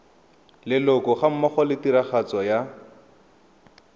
leloko gammogo le tiragatso ya